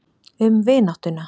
Um vináttuna.